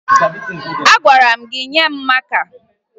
Agwara m gị nye m maka!